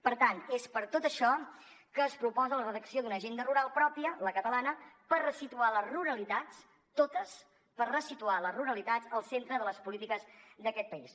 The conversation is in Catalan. per tant és per tot això que es proposa la redacció d’una agenda rural pròpia la catalana per ressituar les ruralitats totes per ressituar les ruralitats al centre de les polítiques d’aquest país